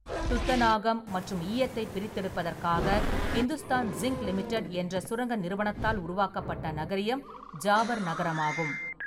துத்தநாகம் மற்றும் ஈயத்தைப் பிரித்தெடுப்பதற்காக இந்துஸ்தான் ஜிங்க் லிமிடட் என்ற சுரங்க நிறுவனத்தால் உருவாக்கப்பட்ட நகரியம் ஜாவர் நகரமாகும்.